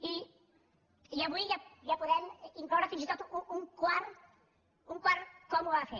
i avui ja hi podem incloure fins i tot un quart com ho va fer